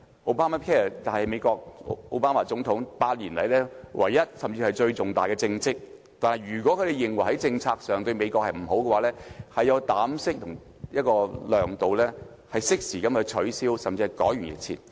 Obamacare 是美國總統奧巴馬8年來唯一，甚至是最重大的政績，但如果他們認為在政策上對美國不利，便要有膽識和量度，適時取消這項政策，甚至改弦易轍。